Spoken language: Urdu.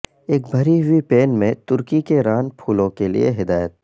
ایک بھری ہوئی پین میں ترکی کے ران پھولوں کے لئے ہدایت